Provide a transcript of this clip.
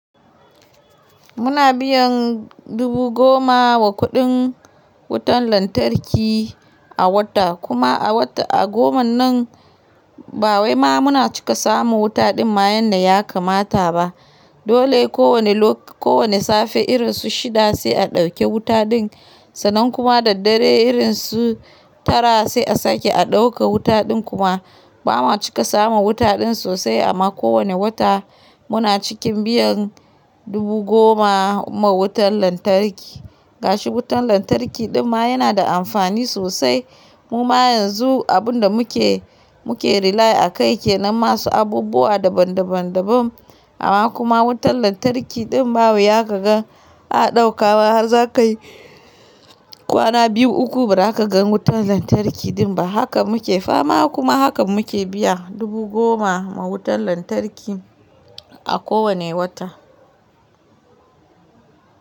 Muna biyan dubu goma wa kuɗin wutan lantarki a wata. Kuma a wata a goma nan ba wai ma muna cika samun wuta dinma yanda ya kamata ba. Dole ko wane lok-- ko wane safe irin su shida sai a ɗauke wuta din sannan kuma da daddare irin su tara sai a sake a ɗauke wuta din kuma ba ma cika samun wuta din sosai amma ko wani wata muna cikin biyan dubu goma ma wutan lantarki. Gashi wutan lantarki din ma yana da amfani sosai. Mu ma yanzu abun da muke, muke rely a kai ke nan masu abubuwa daban daban daban amma kuma wutan lantarki din ba wuya ka gan, a ɗauke har za ka yi kwana biyu uku ba za ka gan wutan lantarki din ba. Haka muke fama kuma haka muke biya dubu goma ma wutan lantarki a kowani wata.